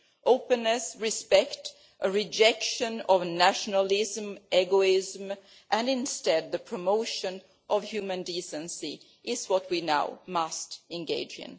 Openness, respect, a rejection of nationalism and egoism and, instead, the promotion of human decency, these are what we must now engage in.